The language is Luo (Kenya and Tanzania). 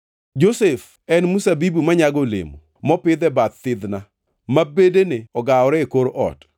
“Josef en mzabibu manyago olemo mopidh e bath thidhna, ma bedene ogawore e kor ot.